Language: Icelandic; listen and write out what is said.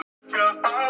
Og ekki allt búið enn.